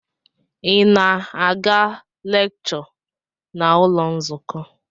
Ị na-aga lekshọ n'ụlọ nzukọ?